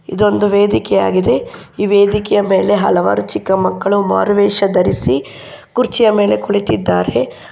ಇದೊಂದು ವೇದಿಕೆ ಆಗಿದೆ ಈ ವೇದಿಕೆಯ ಮೆಲೆ ಹಲವಾರು ಚಿಕ್ಕ ಮಕ್ಕಳು ಮಾರುವೆಶ ಧರಿಸಿ ಕುರ್ಚಿಯ ಮೆಲೆ ಕುಳಿತಿದ್ದಾರೆ.